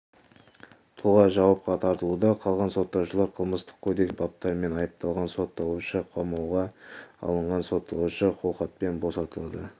тұлға жауапқа тартылуда қалғансотталушылар қылмыстық кодекстің әртүрлі баптарымен айыпталған сотталушы қамауға алынған сотталушы қолхатпен босатылды